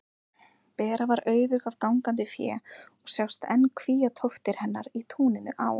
Bera var auðug af gangandi fé og sjást enn kvíatóftir hennar í túninu á